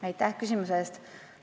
Aitäh küsimuse eest!